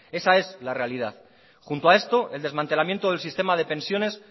esa es la realidad junto a esto el desmantelamiento del sistema de pensiones